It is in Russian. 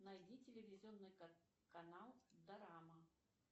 найди телевизионный канал дорама